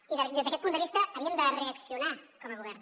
i des d’aquest punt de vista havíem de reaccionar com a govern